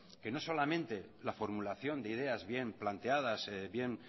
que no solamente la formulación de ideas bien planteadas bien